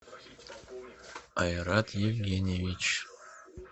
айрат евгеньевич